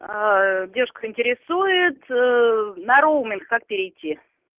девушка интересует на роуминг как перейти